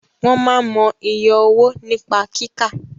Wọ́n máa n mọ iye owó nípa kíkà